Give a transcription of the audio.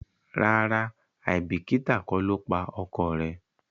ràrá aibikita kò lọ pa ọkọ rẹ